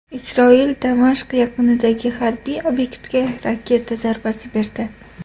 Isroil Damashq yaqinidagi harbiy obyektga raketa zarbasi berdi.